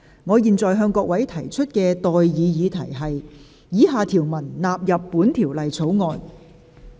我現在向各位提出的待議議題是：以下條文納入本條例草案。